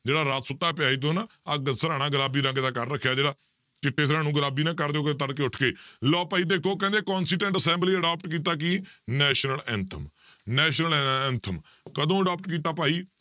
ਜਿਹੜਾ ਰਾਤ ਸੁੱਤਾ ਪਿਆ ਸੀ ਤੂੰ ਨਾ ਆਹ ਗ~ ਸਿਰਾਹਣਾ ਗੁਲਾਬੀ ਰੰਗ ਦਾ ਕਰ ਰੱਖਿਆ ਜਿਹੜਾ, ਚਿੱਟੇ ਸਿਰਾਹਣੇ ਨੂੰ ਗੁਲਾਬੀ ਨਾ ਕਰ ਤੜਕੇ ਉੱਠ ਕੇ ਲਓ ਭਾਈ ਦੇਖੋ ਕਹਿੰਦੇ assembly adopt ਕੀਤਾ ਕੀ national anthem national ਐ~ anthem ਕਦੋਂ adopt ਕੀਤਾ ਭਾਈ